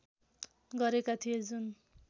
गरेका थिए जुन